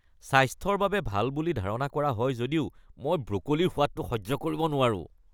স্বাস্থ্যৰ বাবে ভাল বুলি ধাৰণা কৰা হয় যদিও মই ব্ৰ’কলিৰ সোৱাদটো সহ্য কৰিব নোৱাৰোঁ।